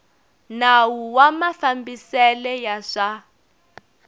nawu wa mafambisele ya swa